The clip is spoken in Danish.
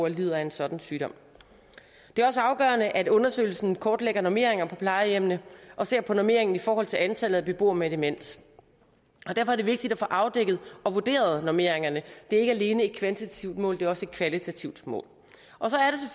lider af en sådan sygdom det er også afgørende at undersøgelsen kortlægger normeringer på plejehjemmene og ser på normeringen i forhold til antallet af beboere med demens derfor er det vigtigt at få afdækket og vurderet normeringerne det er ikke alene et kvantitativt mål det er også et kvalitativt mål